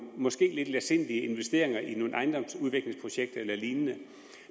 måske lidt letsindige investeringer i nogle ejendomsudviklingsprojekter eller lignende